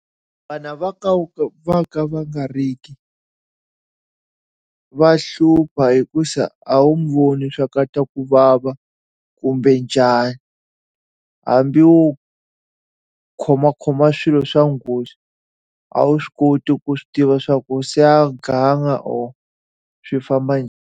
Vana va ka va ka va nga ri ki va hlupha hikuva a wu n'wi voni leswaku u twa ku vava kumbe njhani. Hambi wo khomakhoma swilo swa nghozi, a wu swi koti ku swi tiva leswaku se a ganga or swi famba .